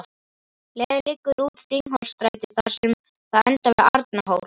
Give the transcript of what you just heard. Leiðin liggur út Þingholtsstræti þar sem það endar við Arnarhól.